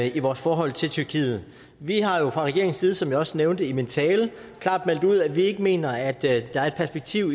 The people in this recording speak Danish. i vores forhold til tyrkiet vi har jo fra regeringens side som jeg også nævnte i min tale klart meldt ud at vi ikke mener at der er et perspektiv